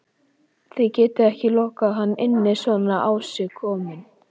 Þið getið ekki lokað hann inni svona á sig kominn